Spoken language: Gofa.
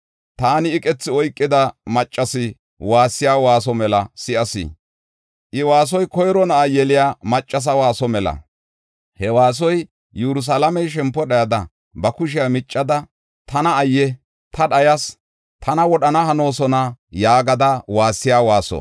Taani iqethi oykida maccasi waassiya waasuwa mela si7as. I waasoy koyro na7a yeliya maccasa waaso mela. He waasoy, Yerusalaamey shempo dhayada, ba kushiya miccada, “Tana ayye! Ta dhayas! Tana wodhanaw hanoosona!” yaagada waassiya waasuwa.